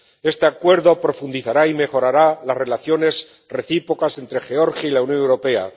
Este Acuerdo profundizará y mejorará las relaciones recíprocas entre Georgia y la Unión Europea.